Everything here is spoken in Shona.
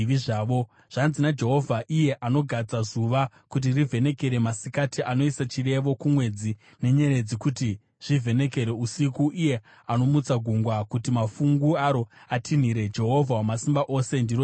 Zvanzi naJehovha, iye anogadza zuva kuti rivhenekere masikati, anoisa chirevo kumwedzi nenyeredzi kuti zvivhenekere usiku, iye anomutsa gungwa kuti mafungu aro atinhire, Jehovha Wamasimba Ose, ndiro zita rake: